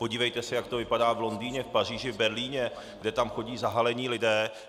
Podívejte se, jak to vypadá v Londýně, v Paříži, v Berlíně, kde tam chodí zahalení lidé.